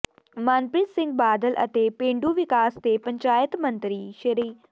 ਮਨਪ੍ਰੀਤ ਸਿੰਘ ਬਾਦਲ ਅਤੇ ਪੇਂਡੂ ਵਿਕਾਸ ਤੇ ਪੰਚਾਇਤ ਮੰਤਰੀ ਸ